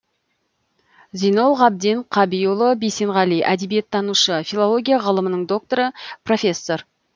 зинол ғабден қабиұлы бисенғали әдебиеттанушы филология ғылымының докторы профессор